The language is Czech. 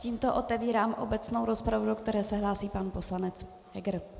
Tímto otevírám obecnou rozpravu, do které se hlásí pan poslanec Heger.